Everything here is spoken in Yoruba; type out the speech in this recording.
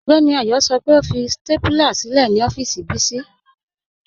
Ọgbẹ́ni Ayọ́ sọ́ pẹ́ ọ fi stápúlà sílẹ̀ ni ọ̀fíìsì Bisi